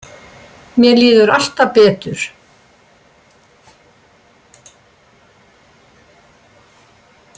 Mér líður alltaf betur.